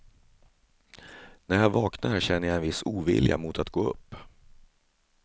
När jag vaknar känner jag en viss ovilja mot att gå upp.